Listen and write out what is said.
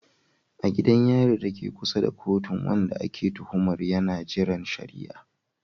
A gidan yari dake kusa da kotun, wanda ake tuhumar yana jiran shari'a.